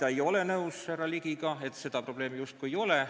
Ma ei ole nõus härra Ligiga, et seda probleemi justkui ei oleks.